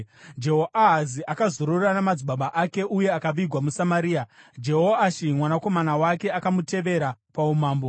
Jehoahazi akazorora namadzibaba ake uye akavigwa muSamaria. Jehoashi mwanakomana wake akamutevera paumambo.